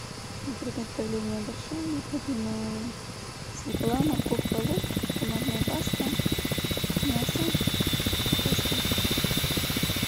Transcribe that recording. для приготовления борща необходимо свекла морковка лук томатная паста мясо картошка